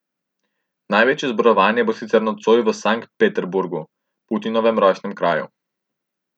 Največje zborovanje bo sicer nocoj v Sankt Peterburgu, Putinovem rojstnem kraju.